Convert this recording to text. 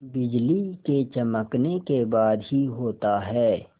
बिजली के चमकने के बाद ही होता है